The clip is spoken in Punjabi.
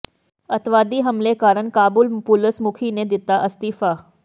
ਅੱਤਵਾਦੀ ਹਮਲੇ ਕਾਰਨ ਕਾਬੁਲ ਪੁਲਸ ਮੁਖੀ ਨੇ ਦਿੱਤਾ ਅਸਤੀਫਾ